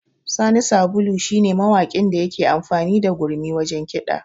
Sani Sabulu shi ne mawakin da yake amfani da gurmi wajen kiɗa